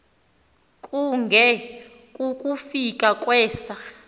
kunge kukufika kwesa